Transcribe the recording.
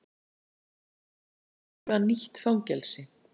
Ríkið mun eiga nýtt fangelsi